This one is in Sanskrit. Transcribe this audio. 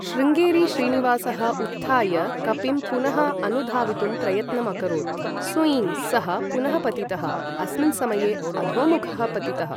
शृङ्गेरी श्रीनिवासः उत्थाय, कपिं पुनः अनुधावितुं प्रयत्नम् अकरोत्। सूय्ँ! सः पुनः पतितः। अस्मिन् समये, अधोमुखः पतितः।